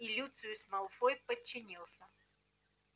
и люциус малфой подчинился